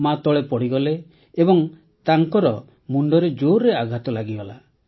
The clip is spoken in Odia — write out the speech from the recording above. ମାତଳେ ପଡ଼ିଗଲା ଏବଂ ତାର ମୁଣ୍ଡରେ ଜୋର୍ରେ ଆଘାତ ଲାଗିଗଲା